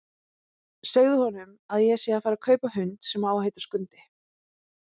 Segðu honum að ég sé að fara að kaupa hund sem á að heita Skundi!